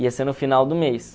Ia ser no final do mês.